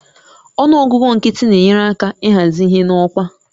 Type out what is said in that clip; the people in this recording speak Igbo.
Ọnụ ọgụgụ nkịtị na-enyere aka ịhazi ihe n'ọkwa